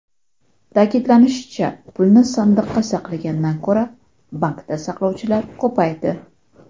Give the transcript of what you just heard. Ta’kidlanishicha, pulni sandiqda saqlagandan ko‘ra, bankda saqlovchilar ko‘paydi.